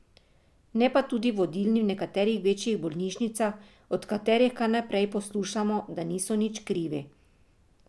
Ne pa tudi vodilni v nekaterih večjih bolnišnicah, od katerih kar naprej poslušamo, da niso nič krivi.